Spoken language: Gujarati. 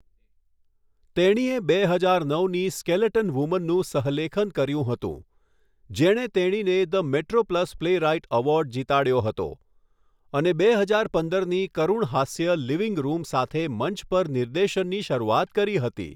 તેણીએ બે હજાર નવની સ્કેલેટન વુમનનું સહલેખન કર્યું હતું, જેણે તેણીને ધ મેટ્રોપ્લસ પ્લેરાઇટ એવોર્ડ જીતાડ્યો હતો અને બે હજાર પંદરની કરૂણહાસ્ય લિવિંગ રૂમ સાથે મંચ પર નિર્દેશનની શરૂઆત કરી હતી.